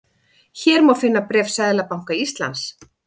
Hér má finna bréf Seðlabanka Íslands